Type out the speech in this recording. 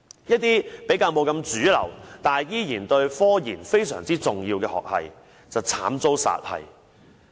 那些不是主流，但對科研非常重要的學系便慘遭殺系。